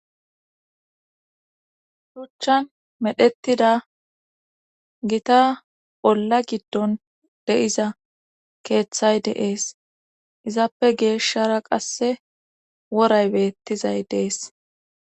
Shuchchan medhettida gita bolla giddon de7iza keeththay deees izappe geeshshara qasse woray beettizay dees